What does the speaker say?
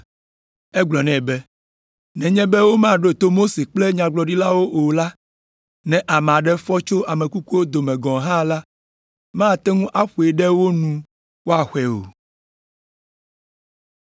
“Egblɔ nɛ be, ‘Nenye be womaɖo to Mose kple Nyagblɔɖilawo o la, ne ame aɖe fɔ tso ame kukuwo dome gɔ̃ hã la, mate ŋu aƒoe ɖe wo nu woaxɔe o.’ ”